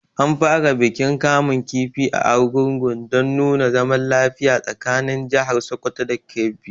An fara bikin kamun kifi a Argungun dan nuna zaman lafiya tsakanin jahar Sokoto da Kebbi